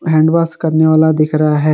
Hand wash करने वाला दिख रहा है।